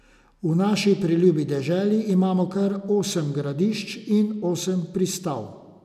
V naši preljubi deželi imamo kar osem Gradišč in osem Pristav.